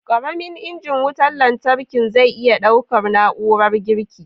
Ƙaramin injin wutan lantarkin zai iya ɗaukar na'urar girki??